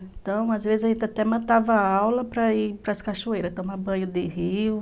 Então, às vezes, a gente até mandava aula para ir para as cachoeiras, tomar banho de rio.